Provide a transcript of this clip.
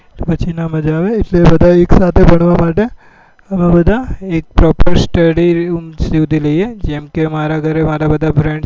તો પછી નાં માજ આવે એટલે બધા એક સાથે ભણવા માટે અમે બધા study લઈએ જેમ કે મારા ઘરે મારા બધા friends